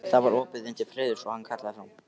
Það var opið inn til Friðriks og hann kallaði fram: